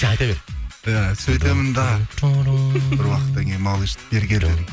айта бер иә сөйтемін де бір уақыттан кейін малыш бері кел дедім